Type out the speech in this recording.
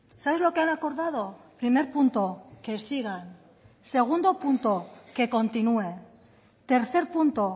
sabes lo que han acordado primer punto que sigan segundo punto que continúe tercer punto